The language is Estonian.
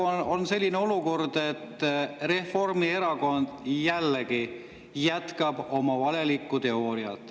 Praegu on selline olukord, et Reformierakond jätkab jällegi oma valelikku teooriat.